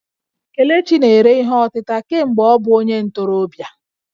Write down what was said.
Kelechi na-ere ihe ọtịta kemgbe ọ bụ onye ntorobịa